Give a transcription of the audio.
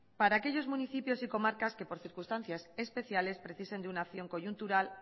para aquellos municipios y comarcas que por circunstancias especiales precisen de una acción coyuntural